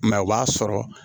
Mɛ o b'a sɔrɔ